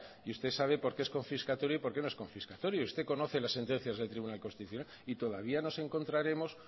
y usted sabe por qué es confiscatorio y por qué no es confiscatorio usted conoce las sentencias del tribunal constitucional y todavía nos encontraremos